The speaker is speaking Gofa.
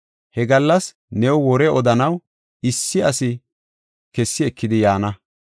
He gallas new wore odanaw issi asi kessi ekidi yaana.